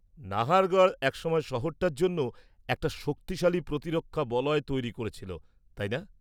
নাহারগড় একসময় শহরটার জন্য একটা শক্তিশালী প্রতিরক্ষা বলয় তৈরি করেছিল, তাই না?